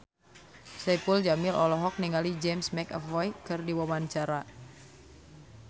Saipul Jamil olohok ningali James McAvoy keur diwawancara